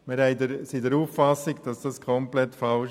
Wir sind der Auffassung, dies sei komplett falsch.